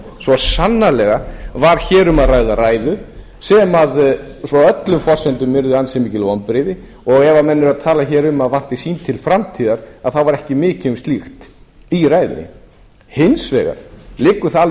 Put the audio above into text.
svo sannarlega var hér um að ræða ræðu sem svo frá öllum forsendum yrði ansi mikil vonbrigði ef menn eru að tala hér um að það vanti þing til framtíðar þá var ekki mikið um slíkt í ræðunni hins vegar liggur það alveg